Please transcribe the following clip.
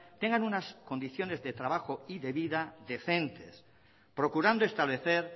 tengan unas condiciones de trabajo y de vida decentes procurando establecer